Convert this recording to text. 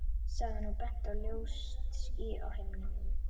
sagði hann og benti á ljóst ský á himninum.